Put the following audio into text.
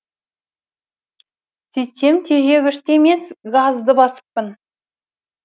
сөйтсем тежегішті емес газды басыппын